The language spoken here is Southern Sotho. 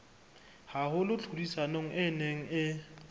haholo tlhodisanong e neng e